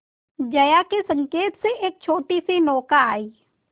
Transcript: जया के संकेत से एक छोटीसी नौका आई